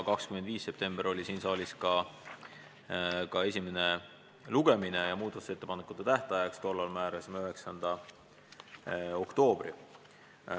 25. septembril toimus siin saalis esimene lugemine ja tollal määrasime muudatusettepanekute esitamise tähtajaks 9. oktoobri.